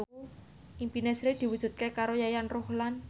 impine Sri diwujudke karo Yayan Ruhlan